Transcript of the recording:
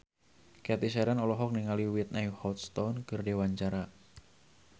Cathy Sharon olohok ningali Whitney Houston keur diwawancara